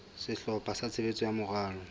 sehlopha sa tshebetso sa moralo